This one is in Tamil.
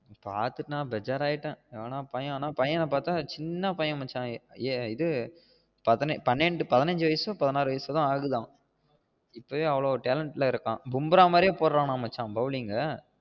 பாத்துட்டு நா பெசார் ஆகிட்டேன் பையன பாத்த சின்ன பையன் மச்சா இது பன்னண்டு பதினஞ்சு வயசோ பதினாரு வயசோத ஆகுதா இப்போவே அவ்ளவு talent ல இருக்கான் மும்புராஹ் மாறியே போடுறாம் மச்சா bowling